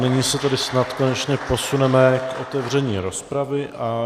Nyní se tedy snad konečně posuneme k otevření rozpravy.